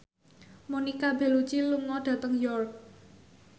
Monica Belluci lunga dhateng York